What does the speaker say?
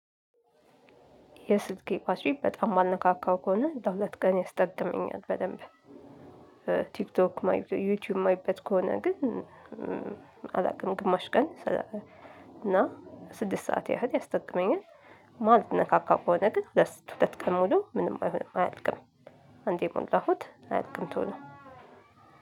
የስልኬ ባትሪ በጣም ማልነካካው ከሆነ ለሁለት ቀን ያስጠቅመኛል በደንብ ቲክቶክ ዩቲዩብ ማይበት ከሆነ ግን አላውቅም ግማሽ ቀን እና ስድስት ሰዓት ያህል ያስጠቅመኛል። ማልካካው ከሆነ ግን ለሁለት ቀን ሙሉ ምንም አይሆንም አያልቅም። አንዴ የሞላሁት አያልቅም ቶሎ።